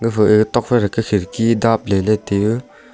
epha tuak phai toh kya kharidki dap ley ley tai a.